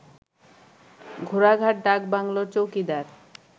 ঘোড়াঘাট ডাকবাংলোর চৌকিদার